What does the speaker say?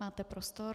Máte prostor.